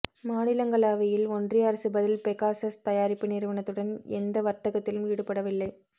மாநிலங்களவையில் ஒன்றிய அரசு பதில் பெகாசஸ் தயாரிப்பு நிறுவனத்துடன் எந்த வர்த்தகத்திலும் ஈடுபடவில்லை